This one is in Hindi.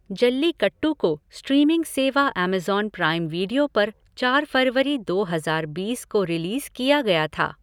जल्लीकट्टू को स्ट्रीमिंग सेवा ऐमज़ॉन प्राइम वीडियो पर चार फरवरी दो हजार बीस को रिलीज़ किया गया था।